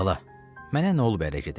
Bala, mənə nə olub ərə gedim?